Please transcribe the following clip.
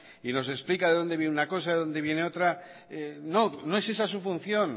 y nos explica de dónde viene una cosa de dónde vienen otra no no es esa su función